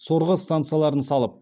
сорғы станцияларын салып